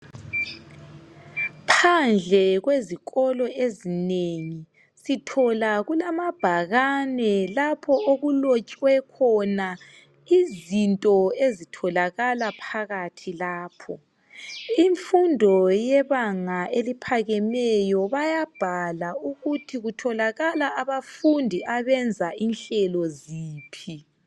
Phandle kwezikolo ezinengi sithola kulamabhakane lapho okulotshwe khona izinto ezitholakala phakathi lapho. Imfundo yebanga eliphakemeyo bayabhala ukuthi kutholakala abafundi abenza inhlelo ziphi.